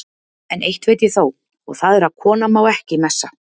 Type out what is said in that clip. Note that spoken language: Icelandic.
En eitt veit ég þó, og það er að kona má ekki messa.